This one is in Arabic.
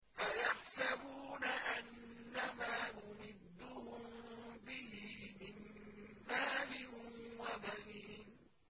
أَيَحْسَبُونَ أَنَّمَا نُمِدُّهُم بِهِ مِن مَّالٍ وَبَنِينَ